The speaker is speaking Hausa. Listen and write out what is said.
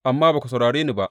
Amma ba ku saurare ni ba.